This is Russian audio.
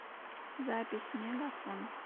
запись мегафон